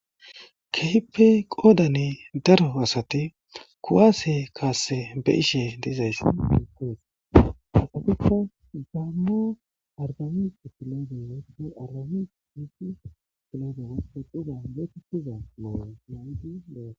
Keype qoodane daro asati kuwaase kaasse be ishe deizays eqoes hasabika daamma argamix filodewa ne alame hid filodewape quza deti kuza mooyo nawdi doa.